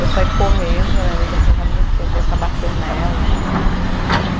Eu saí correndo, a minha amiga foi tentar me defender, o cara bateu nela.